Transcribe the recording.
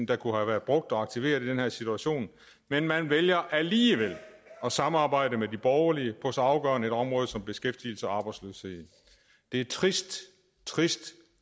der kunne have været brugt og aktiveret i den her situation men man vælger alligevel at samarbejde med de borgerlige på så afgørende områder som beskæftigelse og arbejdsløshed det er trist trist